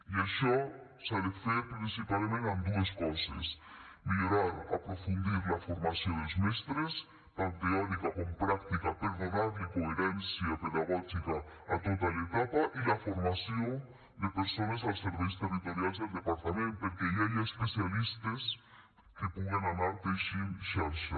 i això s’ha de fer principalment amb dues coses millorar aprofundir la formació dels mestres tant teòrica com pràctica per donar coherència pedagògica a tota l’etapa i la formació de persones als serveis territorials del departament perquè hi hagi especialistes que puguen anar teixint xarxa